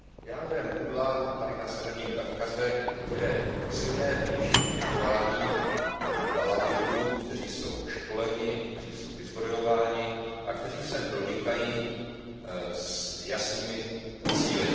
Jádrem pudla na Severním Kavkaze je silné vnější vměšování vahábitů, kteří jsou školeni, kteří jsou vyzbrojováni a kteří sem pronikají s jasnými cíli.